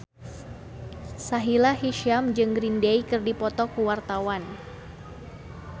Sahila Hisyam jeung Green Day keur dipoto ku wartawan